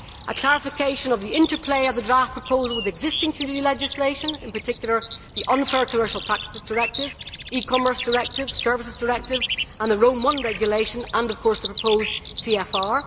a clarification of the interplay of the draft proposal with existing Community legislation, in particular the Unfair Commercial Practices Directive, E Commerce Directive, Services Directive, the Rome I Regulation and, of course, the proposed CFR.